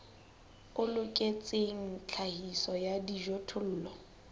o loketseng tlhahiso ya dijothollo